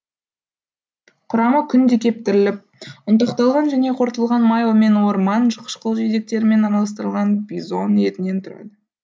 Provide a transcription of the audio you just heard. құрамы күнде кептіріліп ұнтақталған және қорытылған май мен орман қышқыл жидектерімен араластырылған бизон етінен тұрады